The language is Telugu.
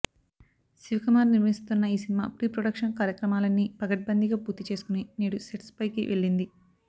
శివకుమార్ నిర్మిస్తోన్న ఈ సినిమా ప్రీ ప్రొడక్షన్ కార్యక్రమాలన్నీ పకడ్బందీగా పూర్తి చేసుకొని నేడు సెట్స్పైకి వెళ్ళింది